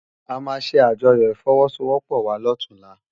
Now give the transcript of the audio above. Amá sé ájòyò ifòwòsówòpò wá lòtúnlá